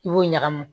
I b'o ɲagami